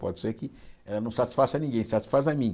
Pode ser que ela não satisfaça ninguém, satisfaça a mim.